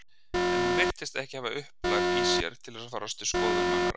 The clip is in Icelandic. En hún virtist ekki hafa upplag í sér til að fara eftir skoðunum annarra.